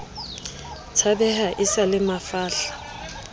tshabeha e sa le mafahla